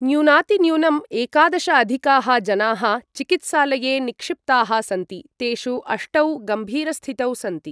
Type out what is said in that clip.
न्यूनातिन्यूनं एकादश अधिकाः जनाः चिकित्सालये निक्षिप्ताः सन्ति, तेषु अष्टौ गम्भीरस्थितौ सन्ति।